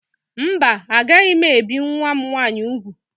Mba, agaghị m ebi nwa m nwaanyị úgwù